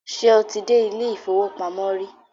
Ṣé o ti dé ilé-ìfowópamọ́ rí?